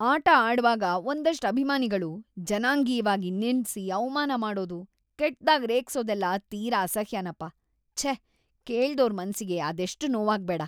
ಆಟ ಆಡ್ವಾಗ ಒಂದಷ್ಟ್‌ ಅಭಿಮಾನಿಗಳು ಜನಾಂಗೀಯ್ವಾಗಿ‌ ನಿಂದ್ಸಿ ಅವ್ಮಾನ ಮಾಡೋದು, ಕೆಟ್ದಾಗ್‌ ರೇಗ್ಸೋದೆಲ್ಲ ತೀರಾ ಅಸಹ್ಯನಪ, ಛೇ! ಕೇಳ್ದೋರ್‌ ಮನ್ಸಿಗೆ ಅದೆಷ್ಟ್‌ ನೋವಾಗ್ಬೇಡ!